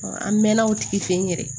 an mɛɛnna o tigi fɛ yen yɛrɛ